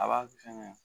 A b'a fɛngɛ